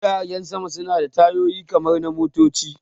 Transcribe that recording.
Jiragen sama suna da tayoyi kamar na motoci